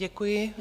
Děkuji.